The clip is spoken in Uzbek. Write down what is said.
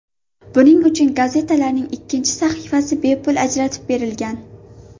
Buning uchun gazetalarning ikkinchi sahifasi bepul ajratib berilgan.